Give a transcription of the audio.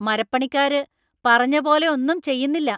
മരപ്പണിക്കാര് പറഞ്ഞപോലെ ഒന്നും ചെയ്യുന്നില്ല.